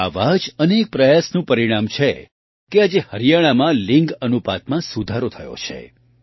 આવા જ અનેક પ્રયાસનું પરિણામ છે કે આજે હરિયાણામાં લિંગ અનુપાતમાં સુધારો થયો છે